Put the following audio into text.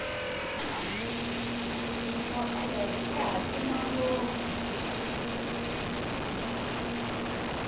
tinyoka leri rihhatima ngopfu